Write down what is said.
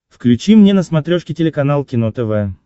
включи мне на смотрешке телеканал кино тв